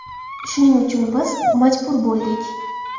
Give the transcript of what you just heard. Shuning uchun biz majbur bo‘ldik.